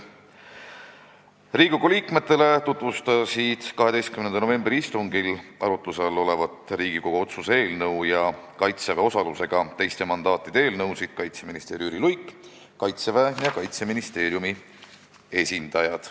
Riigikogu liikmetele tutvustasid 12. novembri istungil arutluse all olevat Riigikogu otsuse eelnõu ja Kaitseväe osalusega teiste mandaatide eelnõusid kaitseminister Jüri Luik ning Kaitseväe ja Kaitseministeeriumi esindajad.